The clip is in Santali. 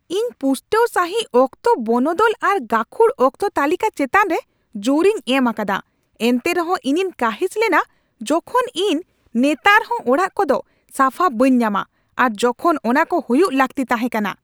ᱤᱧ ᱯᱩᱥᱴᱟᱹᱣ ᱥᱟᱹᱦᱤᱡ ᱚᱠᱛᱚ ᱵᱚᱱᱚᱫᱚᱞ ᱟᱨ ᱜᱟᱹᱠᱷᱩᱲ ᱚᱠᱛᱚ ᱛᱟᱹᱞᱤᱠᱟ ᱪᱮᱛᱟᱱᱨᱮ ᱡᱳᱨᱤᱧ ᱮᱢ ᱟᱠᱟᱫᱟ, ᱮᱱᱛᱮ ᱨᱮᱦᱚᱸ ᱤᱧᱤᱧ ᱠᱟᱺᱦᱤᱥ ᱞᱮᱱᱟ ᱡᱚᱠᱷᱚᱱ ᱤᱧ ᱱᱮᱛᱟᱨᱦᱚᱸ ᱚᱲᱟᱜ ᱠᱚᱫᱚ ᱥᱟᱯᱷᱟ ᱵᱟᱹᱧ ᱧᱟᱢᱟ ᱟᱨ ᱡᱚᱠᱷᱚᱱ ᱚᱱᱟᱠᱚ ᱦᱩᱭᱩᱜ ᱞᱟᱹᱠᱛᱤ ᱛᱟᱦᱮᱸ ᱠᱟᱱᱟ ᱾